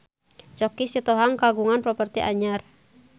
Choky Sitohang kagungan properti anyar